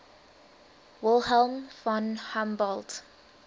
wilhelm von humboldt